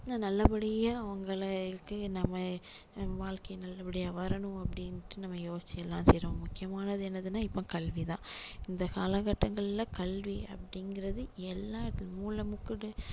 நல்ல படியா அவங்களை வந்து நம்ம வாழ்க்கை நல்ல படியா வரணும் அப்படின்னுட்டு நம்ம யோசிச்சு எல்லாம் செய்றோம் முக்கியமானது என்னதுன்னா இப்போ கல்வி தான் இந்த காலகட்டங்களில கல்வி அப்படிங்கிறது எல்லாம் இப்போ மூலமுக்குக்கு